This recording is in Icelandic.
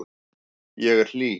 Ég er hlý.